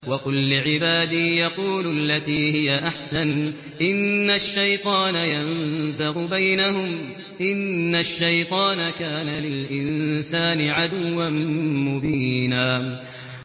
وَقُل لِّعِبَادِي يَقُولُوا الَّتِي هِيَ أَحْسَنُ ۚ إِنَّ الشَّيْطَانَ يَنزَغُ بَيْنَهُمْ ۚ إِنَّ الشَّيْطَانَ كَانَ لِلْإِنسَانِ عَدُوًّا مُّبِينًا